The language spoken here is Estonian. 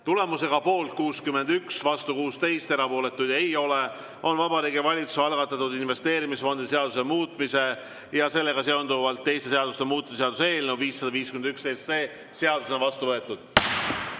Tulemusega poolt 61, vastu 16, erapooletuid ei ole, on Vabariigi Valitsuse algatatud investeerimisfondide seaduse muutmise ja sellega seonduvalt teiste seaduste muutmise seaduse eelnõu 551 seadusena vastu võetud.